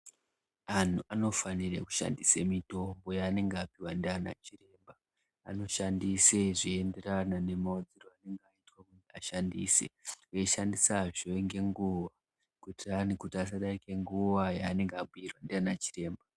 Anhu ano fanire kushandise mitombo yanenge apiwa ndiana chiremba ano shandise zvei enderana ne maudzirwe aanenge aitwe kuti ashandise eyi shandisa zve nge nguva kuitira kuti asa darika nguva yaanenge abhuyirwa ndiana chiremba.